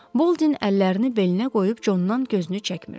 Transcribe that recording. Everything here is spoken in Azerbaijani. Boldin əllərini belinə qoyub Condan gözünü çəkmirdi.